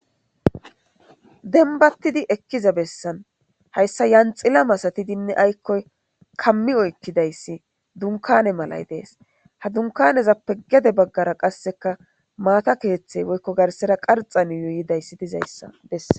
Dembattidi ekkiza bessan hayssa yanxila masatidinne aykkoy kammi oykkidayssi dunkane malay dees ha dunkanezappe gede baggara qasseka maata keeththey woykko garsera qarxan youyidayssi dizayssa bessa.